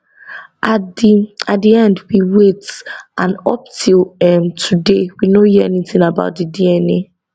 at di at di end we wait and up till um today we no hear anytin about di dna